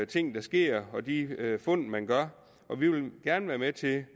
ting der sker og de fund man gør vi vil gerne være med til